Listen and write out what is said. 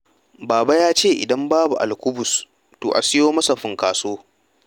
Baba ya ce ' idan babu alkubus to a siyo masa funkaso'.